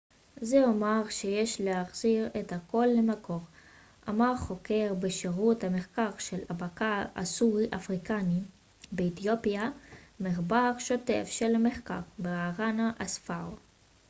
זה אומר שיש להחזיר את הכל למקור אמר חוקר בשירות המחקר של הבקע הסורי-אפריקני באתיופיה ומחבר שותף של המחקר ברהאנה אספאו